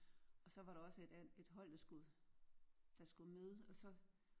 Og så var der også et et hold der skulle der skulle med og så